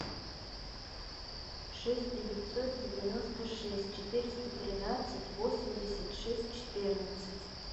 шесть девятьсот девяносто шесть четыреста тринадцать восемьдесят шесть четырнадцать